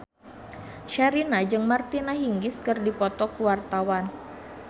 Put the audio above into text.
Sherina jeung Martina Hingis keur dipoto ku wartawan